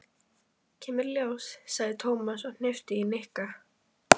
Kemur í ljós, sagði Tómas og hnippti í Nikka.